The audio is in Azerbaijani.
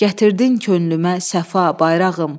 Gətirdin könlümə səfa, bayrağım.